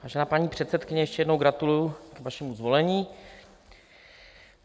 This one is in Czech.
Vážená paní předsedkyně, ještě jednou gratuluju k vašemu zvolení.